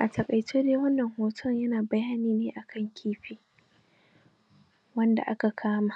A taƙaice dai wannan hoton da kuke gani Yana nuna maku ne wasu aladu da ake ƙiwata su